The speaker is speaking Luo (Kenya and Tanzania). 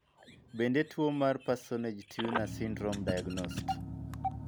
Bende tuo mar Parsonage Turner syndrome diagnosed?